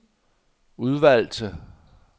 udvalgte